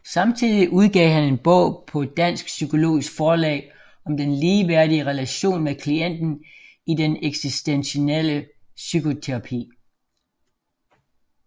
Samtidig udgav han en bog på Dansk Psykologisk Forlag om den ligeværdige relation med klienten i den eksistentielle psykoterapi